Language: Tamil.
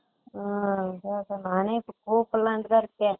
உம் நானே இப்போ கூப்டலாம்னு தான் இருக்கேன்